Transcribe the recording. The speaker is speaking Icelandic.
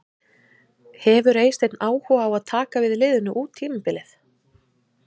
Hefur Eysteinn áhuga á að taka við liðinu út tímabilið?